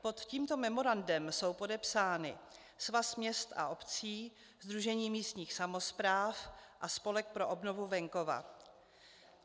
Pod tímto memorandem jsou podepsány Svaz měst a obcí, Sdružení místních samospráv a Spolek pro obnovu venkova.